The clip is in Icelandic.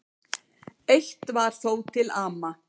Eitt var þó til ama.